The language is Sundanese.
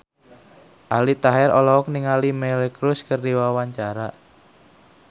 Aldi Taher olohok ningali Miley Cyrus keur diwawancara